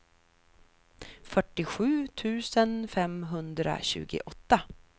fyrtiosju tusen femhundratjugoåtta